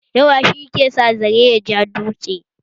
Yawa she kan sa zare ya ja dutse